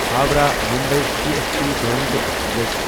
Howrah Mumbai C S T Duronto express